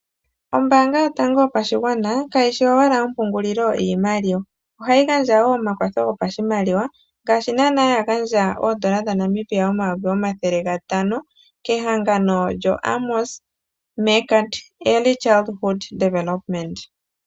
Ombaanga yotango yopashigwana kayishi owala ompungulilo yiimaliwa ohayi gandja woo omakwatho hopashimaliwa ngaashi naana yagandja oodola dhaNamibia omayovi omathele gatano kehangano lyoAmos Megant Early Childhood Development.